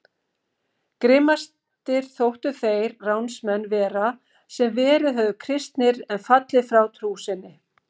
Grimmastir þóttu þeir ránsmenn vera sem verið höfðu kristnir en fallið frá trú sinni.